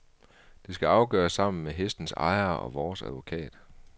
Det skal afgøres sammen med hestens ejere og vores advokat.